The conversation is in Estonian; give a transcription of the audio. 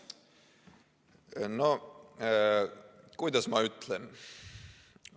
No kuidas ma ütlen ...